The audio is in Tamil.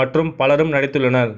மற்றும் பலரும் நடித்துள்ளனர்